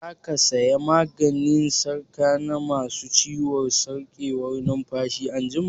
Za ka saya maganin shaƙa na ma su ciwon sarƙewar numfashi anjima?